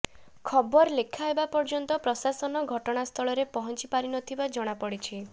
ଖବର ଲେଖା ହେବା ପର୍ଯ୍ୟନ୍ତ ପ୍ରଶାସନ ଘଟଣାସ୍ଥଳରେ ପହଞ୍ଚି ପାରିନଥିବା ଜଣାପଡ଼ିଛି